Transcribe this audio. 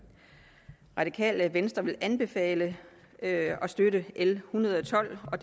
radikale venstre vil anbefale at støtte l en hundrede og tolv og